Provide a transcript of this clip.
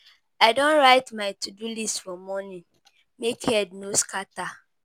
I don write my to-do list for morning, make head no scatter.